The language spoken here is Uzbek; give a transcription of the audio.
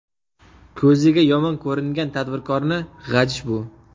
Ko‘ziga yomon ko‘ringan tadbirkorni g‘ajish bu.